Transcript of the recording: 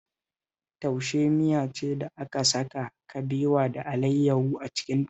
Taushe miya ce da aka saka kabewa da alayyahu a cikinta